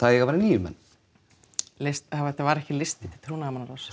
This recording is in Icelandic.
það eiga að vera níu menn þetta var ekki listi til trúnaðarmannaráðs